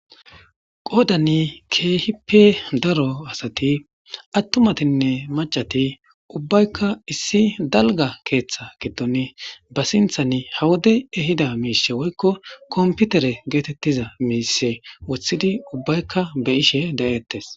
Qoodani keehipe daro asati attumatinne macati ubbaykka issi dalga keeththa getone ba sinthani hawodey ehida miishe woykko komputere geetettiza miise wothidi ubbaykka be ishe da'ettes.